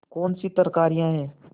कौनसी तरकारियॉँ हैं